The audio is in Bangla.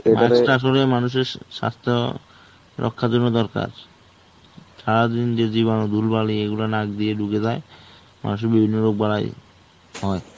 mask টা আসলে মানুষের স্বাস্থ্য রক্ষার জন্য দরকার. সারাদিন যে জীবাণু, ধুলো বালি এগুলো নাক দিয়ে ঢুকে যায়. মানুষের বিভিন্ন রোগ বাড়ায়. হয়.